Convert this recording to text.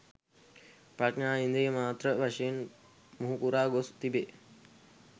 ප්‍රඥා ඉන්ද්‍රිය මාත්‍ර වශයෙන් මුහුකුරා ගොස් තිබේ.